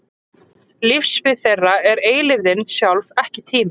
Lífssvið þeirra er eilífðin sjálf, ekki tíminn.